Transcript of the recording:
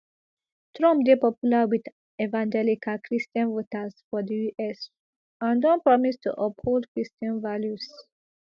trump dey popular wit evangelical christian voters for di us and don promise to uphold christian values